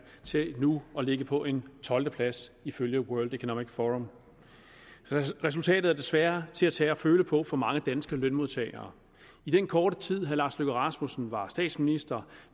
til nu at ligge på en tolvteplads ifølge world economic forum resultatet er desværre til at tage og føle på for mange danske lønmodtagere i den korte tid herre lars løkke rasmussen var statsminister